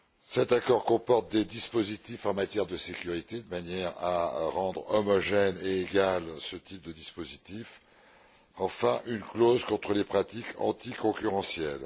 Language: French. Cet accord comporte également des dispositifs en matière de sécurité de manière à rendre homogène et égal ce type de dispositifs, ainsi qu'une clause contre les pratiques anticoncurrentielles.